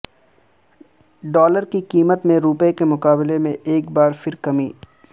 dollar کی قیمت میں روپے کے مقابلے میں ایک بار پھر کمی